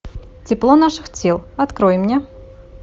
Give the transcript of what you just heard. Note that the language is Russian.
тепло наших тел открой мне